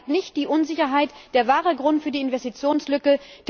Er beseitigt nicht die Unsicherheit, den wahren Grund für die Investitionslücke.